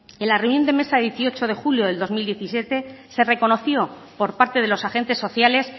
en la reunión de mesa de dieciocho de julio de dos mil diecisiete se reconoció por parte de los agentes sociales